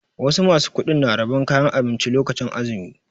Wasu ma su kuɗin na rabon kayan abinci lokacin azumi.